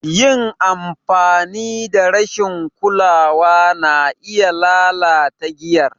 Yin amfani da rashin kulawa na iya lalata giyar.